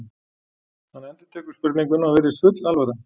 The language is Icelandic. Hann endurtekur spurninguna og virðist full alvara.